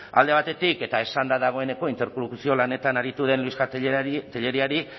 alde batetik eta esan da dagoeneko interlokuzio lanetan aritu den luisja telleriari